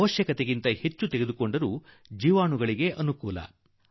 ಅಗತ್ಯಕ್ಕಿಂತ ಹೆಚ್ಚು ತೆಗೆದುಕೊಂಡರೂ ಕೂಡಾ ಅದು ಜೀವಾಣುವಿಗೆ ಸಹಾಯಕ